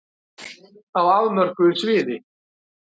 Á afmörkuðu sviði.